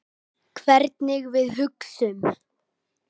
Hvernig við hugsum.